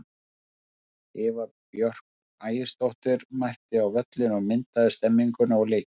Eva Björk Ægisdóttir mætti á völlinn og myndaði stemmninguna og leikinn.